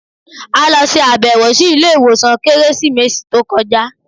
A lọ ṣe abẹwo si ile iwosan ni Keresimesi to kọja